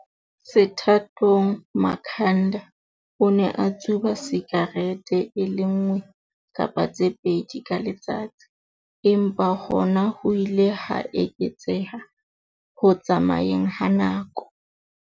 Sethathong, Makhanda o ne a tsuba sikarete e le nngwe kapa tse pedi ka letsatsi, empa hona ho ile ha eketseha ho tsamayeng ha nako.